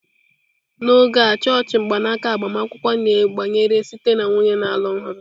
N'oge a chọọchị mgbanaka agbamakwụkwọ na-gbanwere site na nwunye na-alụ ọhụrụ.